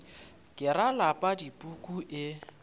ke ra lapa dipuku e